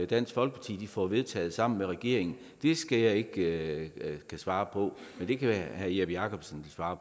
dansk folkeparti får vedtaget sammen med regeringen skal jeg ikke kunne svare på men det kan herre jeppe jakobsen svare